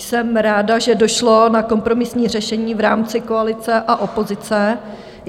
Jsem ráda, že došlo na kompromisní řešení v rámci koalice a opozice.